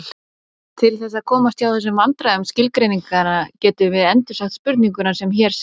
Til þess að komast hjá þessum vandræðum skilgreininganna getum við endursagt spurninguna sem hér segir: